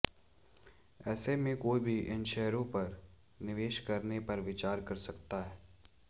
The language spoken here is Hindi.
ऐसे में कोई भी इन शेयरों में निवेश करने पर विचार कर सकता है